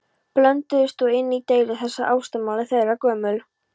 Blönduðust og inn í deilu þessa ástamál þeirra gömul.